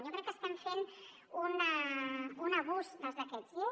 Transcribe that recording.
jo crec que estem fent un abús dels decrets llei